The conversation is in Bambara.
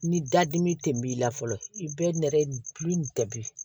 Ni dadimi tun b'i la fɔlɔ i bɛ nɛrɛ bi